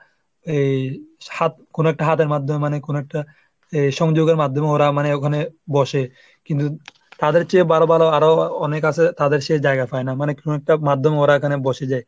এই হাত হাত কোনো একটা হাতের মাধ্যমে মানে কোনো একটা সংযোগের মাধ্যমে ওরা মানে ওখানে বসে, কিন্তু তাদের চেয়ে ভালো ভালো আরো অনেক আছে তাদের সেই জায়গা পায় না। মানে কোনো একটা মাধ্যমে ওরা এখানে বসে যায়।